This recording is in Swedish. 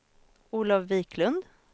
Olov Wiklund